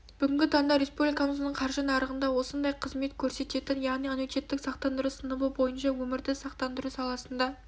бүгінгі таңда республикамыздың қаржы нарығында осындай қызмет көрсететін яғни аннуитеттік сақтандыру сыныбы бойынша өмірді сақтандыру саласында